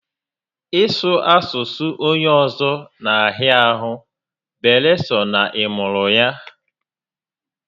Ị sụ asụsụ onye ọzọ na a hịa ahụ beere sọ na ị mụrụ ya